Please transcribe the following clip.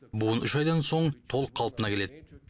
буын үш айдан соң толық қалпына келеді